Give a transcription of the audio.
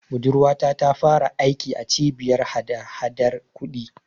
Budurwata ta fara aiki a Cibiyar hadahadar kuɗi.